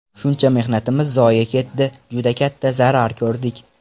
Shuncha mehnatimiz zoye ketdi, juda katta zarar ko‘rdik.